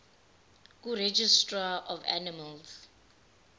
kuregistrar of animals